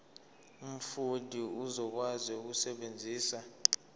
umfundi uzokwazi ukusebenzisa